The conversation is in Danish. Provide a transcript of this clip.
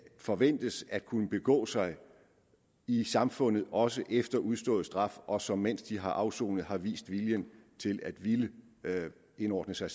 forventes at kunne begå sig i samfundet også efter udstået straf og som mens de har afsonet har vist vilje til at ville indordne sig